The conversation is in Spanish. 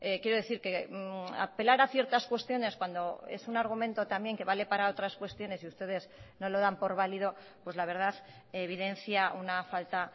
quiero decir que apelar a ciertas cuestiones cuando es un argumento también que vale para otras cuestiones y ustedes no lo dan por válido pues la verdad evidencia una falta